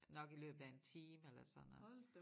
Nok i løbet af en time eller sådan noget